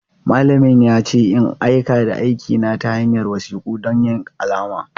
Malamin ya ce in aika da aikina ta hanyar wasiku don yin alama.